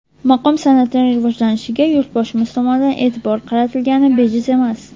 Maqom san’atining rivojlanishiga Yurtboshimiz tomonidan e’tibor qaratilgani bejiz emas.